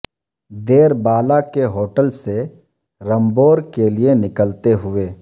دیر بالا کے ہوٹل سے رمبور کے لیے نکلتے ہوئے